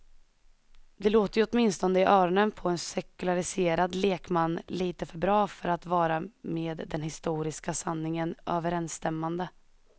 Det låter ju åtminstone i öronen på en sekulariserad lekman lite för bra för att vara med den historiska sanningen överensstämmande.